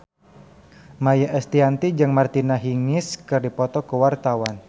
Maia Estianty jeung Martina Hingis keur dipoto ku wartawan